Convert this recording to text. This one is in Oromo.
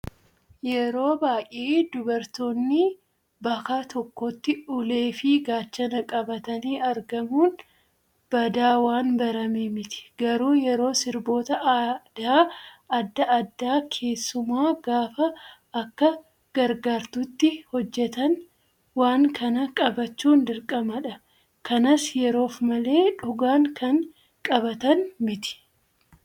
Yeroo baay'ee dubartoonni baka tokkotti ulee fi gaachana qabatanii argamuun badaa waan barame miti. Garuu yeroo sirboota aadaa adda addaa keessumaa gaafa akka gargaartuutti hojjatan waan kana qabachuun dirqamadha. Kanas yeroof malee dhugaan kan qabatan miti.